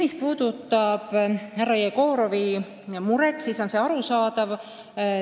Mis puudutab härra Jegorovi muret, siis see on arusaadav.